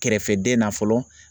Kɛrɛfɛden na fɔlɔ